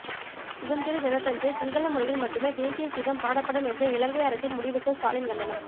சுதந்திர தினத்தன்று சிங்கள மொழியில் மட்டுமே தேசிய கீதம் பாடப்படும் என்ற இலங்கை அரசின் முடிவுக்கு ஸ்டாலின் கண்டனம்